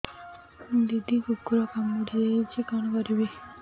ଦିଦି କୁକୁର କାମୁଡି ଦେଇଛି କଣ କରିବି